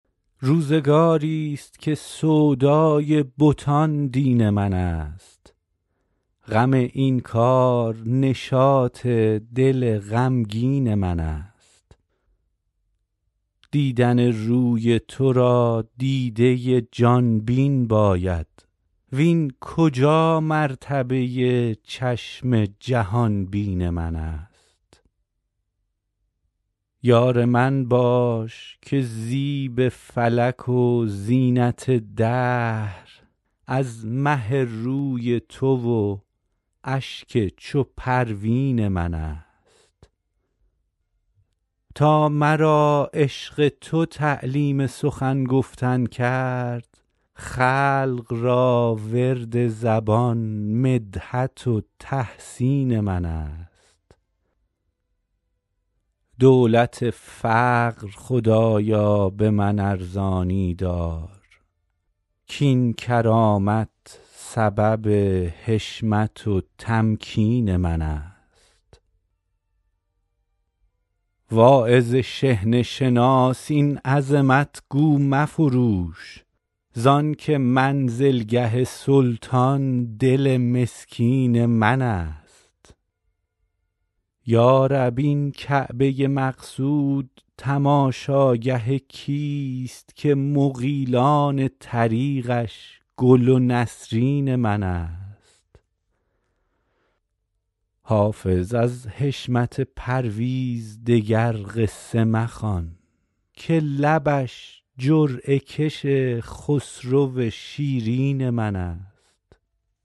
روزگاری ست که سودای بتان دین من است غم این کار نشاط دل غمگین من است دیدن روی تو را دیده ی جان بین باید وین کجا مرتبه ی چشم جهان بین من است یار من باش که زیب فلک و زینت دهر از مه روی تو و اشک چو پروین من است تا مرا عشق تو تعلیم سخن گفتن کرد خلق را ورد زبان مدحت و تحسین من است دولت فقر خدایا به من ارزانی دار کاین کرامت سبب حشمت و تمکین من است واعظ شحنه شناس این عظمت گو مفروش زان که منزلگه سلطان دل مسکین من است یا رب این کعبه ی مقصود تماشاگه کیست که مغیلان طریقش گل و نسرین من است حافظ از حشمت پرویز دگر قصه مخوان که لبش جرعه کش خسرو شیرین من است